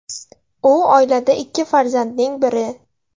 U oilada ikki farzandning biri.